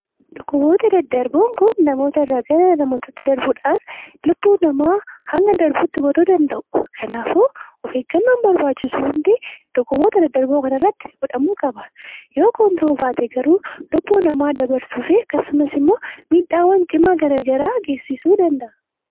Dhukkuboota daddarboon kun namoota irraa gara namoota birootti daddarbuudhaan lubbuu namaa hanga darbuutti godhuu danda'u. Kanaafuu of eeggannoon barbaachisu hundi dhukkuboota daddarboo kana irratti godhamuu qaba. Yoo kun godhamuu baate garuu lubbuu namaa dabarsuu fi akkasumas immoo miidhaawwan cimaa gara garaa geessisuu danda'a.